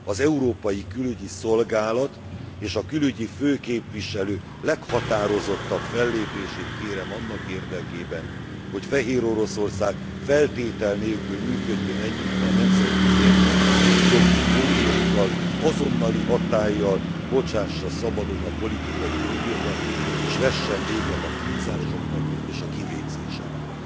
Az Európai Külügyi Szolgálat és a külügyi főképviselő leghatározottabb fellépését kérem annak érdekében, hogy Fehéroroszország feltétel nélkül működjön együtt a nemzetközi emberi jogi fórumokkal, azonnali hatállyal bocsássa szabadon a politikai foglyokat, és vessen véget a kínzásoknak és a kivégzéseknek.